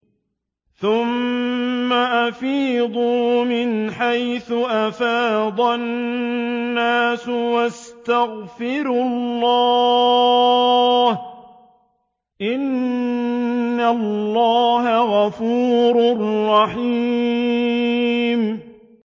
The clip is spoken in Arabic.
ثُمَّ أَفِيضُوا مِنْ حَيْثُ أَفَاضَ النَّاسُ وَاسْتَغْفِرُوا اللَّهَ ۚ إِنَّ اللَّهَ غَفُورٌ رَّحِيمٌ